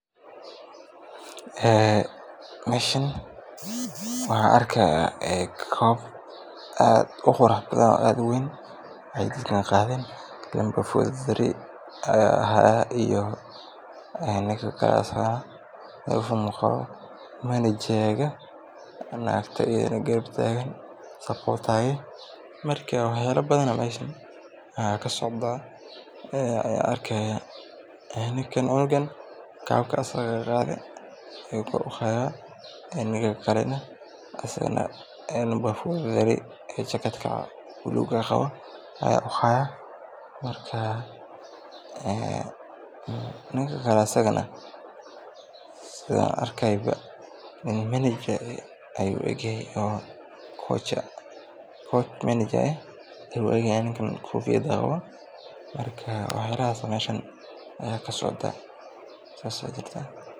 Meeshan waxaan arkaaya koob aad uqurux badan oo aad uweyn aay dadkan qaaden, naagta garab taagan, wax yaaba badan ayaa kasocdaa cunuga kabka asaga qaade, ninka kale asagana koch ayuu u eg yahay, marka wax yaabahaas ayaa meesha kasocdaa, saas ayaa jirtaa.